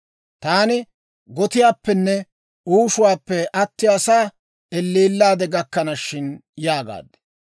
Taani gotiyaappenne uushuwaappe, attiyaasaa elleellaade gakkana shin» yaagaad.